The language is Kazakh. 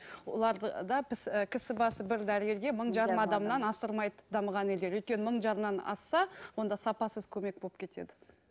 оларды да біз кісі басы бір дәрігерге мың жарым адамнан асырмайды дамыған елдер өйткені мың жарымнан асса онда сапасыз көмек болып кетеді